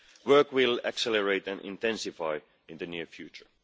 Work will accelerate and intensify in the near future.